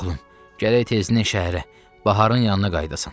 Oğlum, gərək tezindən şəhərə, baharın yanına qayıdasan.